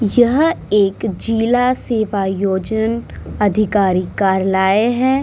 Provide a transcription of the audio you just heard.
यह एक जीला सेवायोजन अधिकारी कारलाये है।